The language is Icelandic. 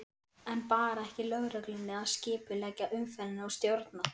En bar ekki lögreglunni að skipuleggja umferðina og stjórna?